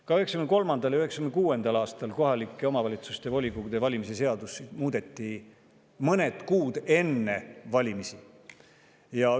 Ka 1993. ja 1996. aastal muudeti mõned kuud enne valimisi kohaliku omavalitsuse volikogu valimise seadust.